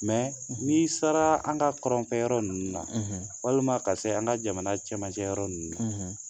Mɛ ni sara an kaɔrɔnfɛ yɔrɔ ninnu na walima ka se an ka jamana cɛmanjɛ yɔrɔ ninnu na